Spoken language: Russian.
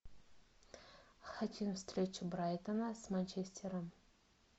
хотим встречу брайтона с манчестером